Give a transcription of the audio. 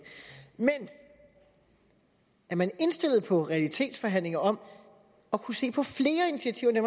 men er man indstillet på realitetsforhandlinger om at kunne se på flere initiativer